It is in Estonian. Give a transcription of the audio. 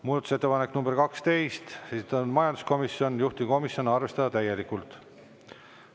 Muudatusettepanek nr 12, esitanud majanduskomisjon, juhtivkomisjon: arvestada täielikult.